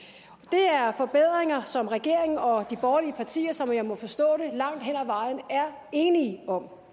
er forbedringer som regeringen og de borgerlige partier som jeg må forstå det langt hen ad vejen er enige om